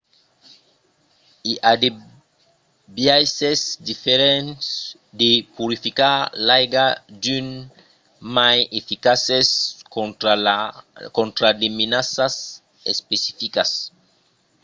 i a de biaisses diferents de purificar l'aiga d'unes mai eficaces contra de menaças especificas